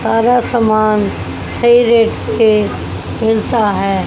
सारा सामान सही रेट पे मिलता है।